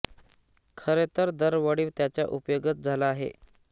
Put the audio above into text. खरे तर दर वळी त्याचा उपयोगच झाला आहे